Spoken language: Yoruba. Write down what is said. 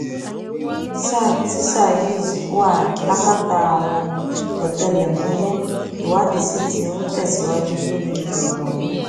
sá tíṣà yìí ti wà lákàtà àwọn ọtẹlẹmúyẹ ìwádìí sí tí ń tẹsíwájú lórí ọrọ ọhún